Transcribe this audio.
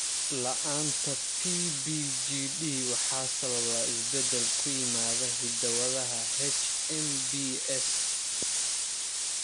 La'aanta PBGD waxaa sababa isbeddel ku yimaada hidda-wadaha HMBS.